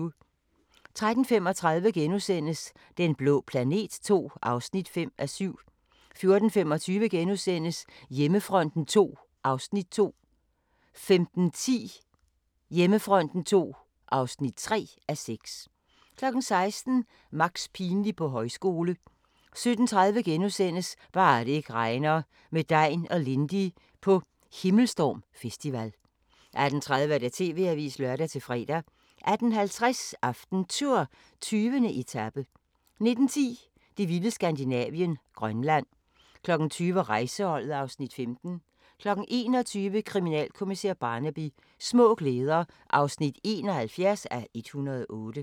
13:35: Den blå planet II (5:7)* 14:25: Hjemmefronten II (2:6)* 15:10: Hjemmefronten II (3:6) 16:00: Max pinlig på højskole 17:30: Bare det ikke regner – med Degn og Lindy på Himmelstorm Festival * 18:30: TV-avisen (lør-fre) 18:50: AftenTour: 20. etape 19:10: Det vilde Skandinavien – Grønland 20:00: Rejseholdet (Afs. 15) 21:00: Kriminalkommissær Barnaby: Små glæder (71:108)